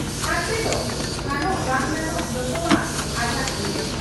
ᱦᱟᱱᱛᱮᱫᱚ ᱦᱟᱱᱚᱜ ᱵᱟᱝ ᱜᱟᱱᱚᱜ ᱡᱚᱛᱚᱣᱟᱜ ᱟᱡᱟᱜ ᱛᱤᱨᱮ ᱾